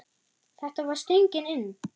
Þetta var stöngin inn!